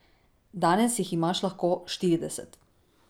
Danes jih imaš lahko štirideset.